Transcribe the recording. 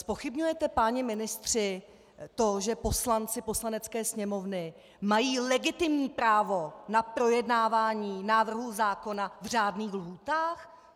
Zpochybňujete, páni ministři, to, že poslanci Poslanecké sněmovny mají legitimní právo na projednávání návrhu zákona v řádných lhůtách?